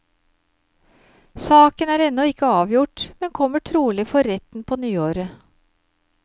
Saken er ennå ikke avgjort, men kommer trolig for retten på nyåret.